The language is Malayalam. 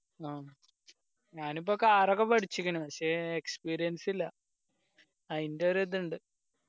അ ഞാനിപ്പോ car ഒക്കെ പടിച്ചിക്കണ് പക്ഷെ experience ഇല്ല ആയിൻ്റെ ഒരു ഇത് ഇണ്ട്